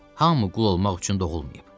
Hamı qul olmaq üçün doğulmayıb.